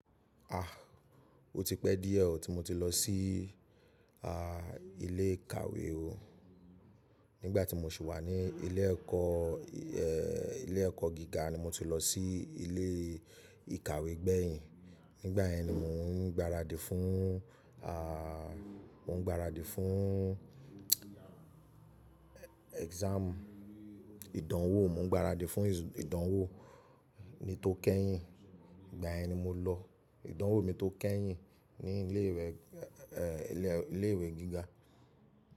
Ah, o ti pẹ́ díẹ̀ tí mo ti lọ sí i à ilé ìkàwé o. Nígbà tí mo sì wà ní ilé ẹ̀kọ́, eeh ilé ẹ̀kọ́ gíga ni mo ti lọ sí ilé ìkàwé gbẹ̀yìn. Nígbà yẹn ni mò ń gbaradì fún à n gbaradì fún exam ìdánwò, mò ń gbaradì fún ìdánwò mi tó kẹ́yìn. Ìgbà yẹn ni mo lọ ìdánwò mi tó kẹ́yìn ní ilé ìwé, eeh ilé ìwé gíga.